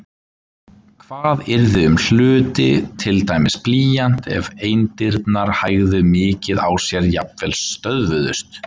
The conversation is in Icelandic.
Hvað yrði um hluti, til dæmis blýant, ef eindirnar hægðu mikið á sér, jafnvel stöðvuðust?